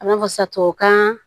A b'a fɔ sa tubabukan